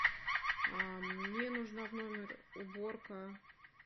мне нужна в номер уборка